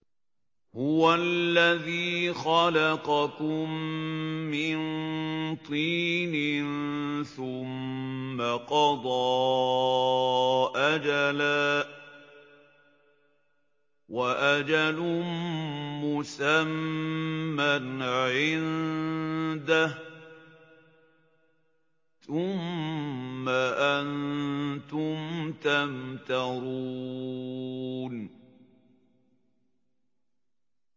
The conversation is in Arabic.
هُوَ الَّذِي خَلَقَكُم مِّن طِينٍ ثُمَّ قَضَىٰ أَجَلًا ۖ وَأَجَلٌ مُّسَمًّى عِندَهُ ۖ ثُمَّ أَنتُمْ تَمْتَرُونَ